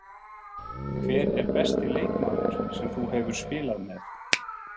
Hver er besti leikmaður sem þú hefur spilað með?